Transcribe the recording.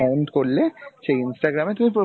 point করলে সেই Instagram এ তুমি profile